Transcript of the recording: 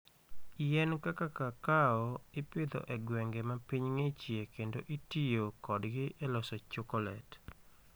Yien kaka kakao ipidho e gwenge ma piny ng'ichie kendo itiyo kodgi e loso chokolet.